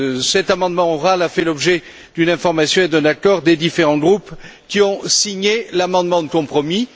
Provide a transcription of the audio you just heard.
Cet amendement oral a fait l'objet d'une information et d'un accord des différents groupes qui ont signé l'amendement de compromis.